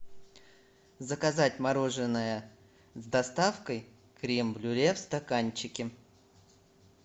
заказать мороженое с доставкой крем брюле в стаканчике